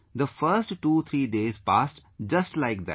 The first 23 days passed just like that